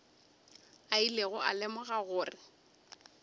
a ilego a lemoga gore